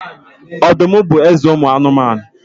Ọdụm bụ eze ụmụ anụmanụ.